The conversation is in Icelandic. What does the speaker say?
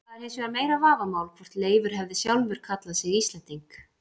Það er hins vegar meira vafamál hvort Leifur hefði sjálfur kallað sig Íslending.